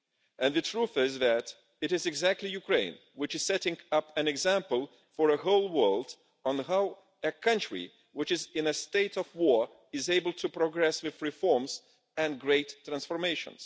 And the truth is that it is precisely Ukraine which is setting an example for the whole world on how a country which is in a state of war is able to progress with reforms and great transformation.